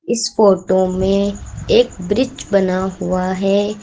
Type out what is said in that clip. इस फोटो में एक ब्रिज बना हुआ है।